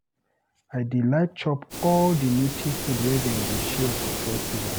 I dey like chop all di native food wey dem dey share for festival.